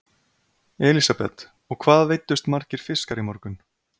Elísabet: Og hvað veiddust margir fiskar í morgun?